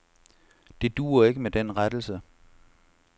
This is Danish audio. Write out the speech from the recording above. Det duer ikke med den rettelse.